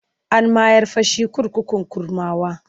An mayar fa shi kurkukun Kurmawa.